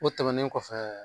O tɛmɛnen kɔfɛ